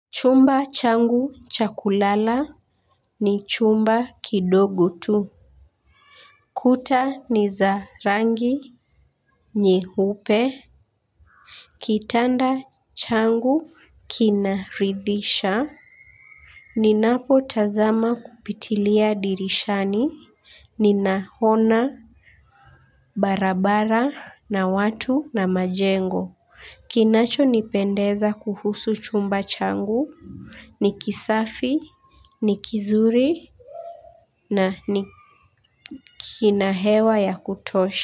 Chumba changu cha kulala ni chumba kidogo tu. Kuta ni za rangi nyeupe. Kitanda changu kinaridhisha. Ninapo tazama kupitilia dirishani ni naona barabara na watu na majengo. Kinacho nipendeza kuhusu chumba changu ni kisafi ni kizuri na ni kina hewa ya kutosha.